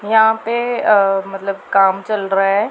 यहां पे अह मतलब काम चल रहा है।